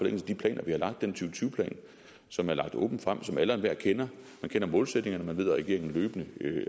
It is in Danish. af de planer vi har lagt den to tusind tyve plan som er lagt åbent frem og som alle og enhver kender man kender målsætningerne og man ved at regeringen løbende